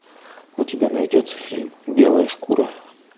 у тебя найдется фильм белая шкура